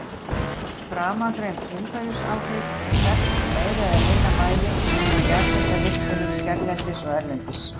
Framangreind umhverfisáhrif eru þekkt í meira eða minna mæli frá jarðhitavirkjunum hérlendis og erlendis.